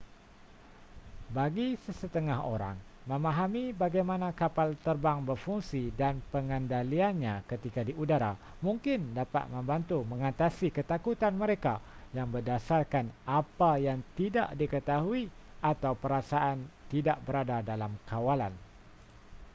bagi sesetengah orang memahami bagaimana kapal terbang berfungsi dan pengendaliannya ketika di udara mungkin dapat membantu mengatasi ketakutan mereka yang berdasarkan apa yang tidak diketahui atau perasaan tidak berada dalam kawalan